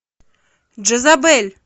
джезабель